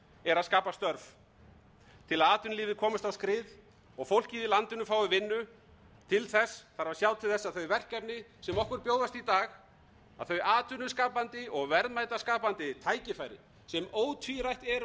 er að skapa störf til að atvinnulífið komist á skrið og fólkið í landinu fái vinnu til þess þarf að sjá til þess að þau verkefni sem okkur bjóðast í dag að þau atvinnuskapandi og verðmætaskapandi tækifæri sem ótvírætt eu